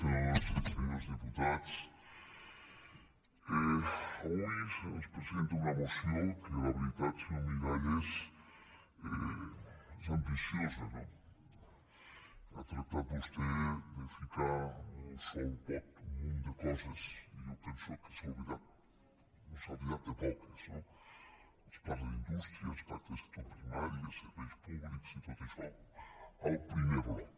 senyores i senyors diputats avui se’ns presenta una moció que la veritat senyor miralles és ambiciosa no ha tractat vostè de ficar en un sol pot un munt de coses i jo penso que s’ha oblidat de poques no es parla d’indústria es parla de sector primari de serveis públics i tot això al primer bloc